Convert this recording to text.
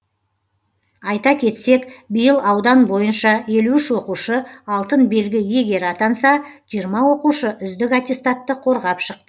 айта кетсек биыл аудан бойынша елу үш оқушы алтын белгі иегері атанса жиырма оқушы үздік аттестатты қорғап шықты